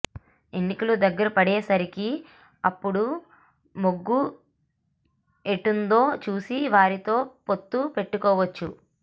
ఎన్నికలు దగ్గర పడేసరికి అప్పుడు మొగ్గు ఎటుందో చూసి వారితో పొత్తు పెట్టుకోవచ్చు